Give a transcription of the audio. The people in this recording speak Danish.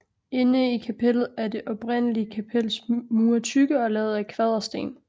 Inde i kapellet er det oprindelige kapels mure tykke og lavet af kvadersten